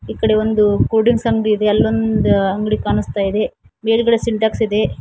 ಈ ಕಡೆ ಒಂದು ಕೂಲ್ ಡ್ರಿಂಕ್ಸ್ ಅಂಗಡಿ ಇದೆ ಅಲ್ಲೊಂದ್ ಅಂಗಡಿ ಕಾಣಸ್ತಾ ಇದೆ ಮೇಲ್ಗಡೆ ಸೆಂಟೆಕ್ಸ್ ಇದೆ.